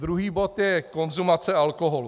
Druhý bod je konzumace alkoholu.